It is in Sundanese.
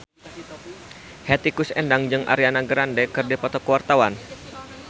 Hetty Koes Endang jeung Ariana Grande keur dipoto ku wartawan